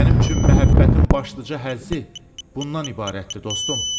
Mənim üçün məhəbbətin başlıca həzzi bundan ibarətdir, dostum.